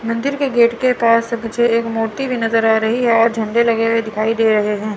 मंदिर के गेट के पास मुझे एक मूर्ति भी नजर आ रही है और झंडे लगे हुए दिखाई दे रहे हैं।